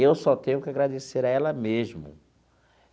Eu só tenho que agradecer a ela mesmo.